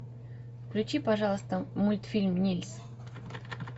включи пожалуйста мультфильм нильс